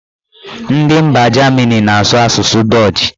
Ndị mba Jamini na-asụ asụsụ dọch